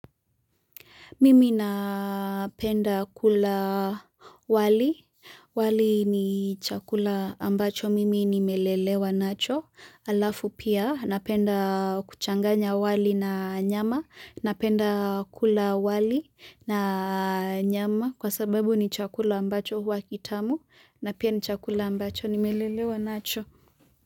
Mimi napenda kula wali, wali ni chakula ambacho, mimi nimelelewa nacho, alafu pia napenda kuchanganya wali na nyama, napenda kula wali na nyama, kwa sababu ni chakula ambacho huwa kitamu, na pia ni chakula ambacho nimelelewa nacho.